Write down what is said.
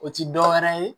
O ti dɔwɛrɛ ye